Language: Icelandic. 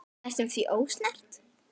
Næstum því ósnert.